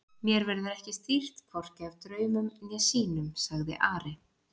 Mér verður ekki stýrt hvorki af draumum né sýnum, sagði Ari.